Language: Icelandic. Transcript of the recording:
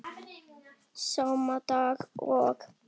Sama dag og